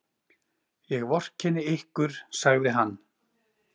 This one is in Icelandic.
Ég vorkenni ykkur, sagði hann.